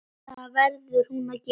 Það verður hún að gera.